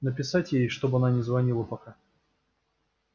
написать ей чтобы она не звонила пока